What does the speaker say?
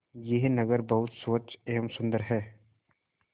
यह नगर बहुत स्वच्छ एवं सुंदर है